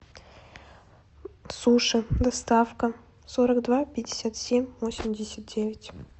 суши доставка сорок два пятьдесят семь восемьдесят девять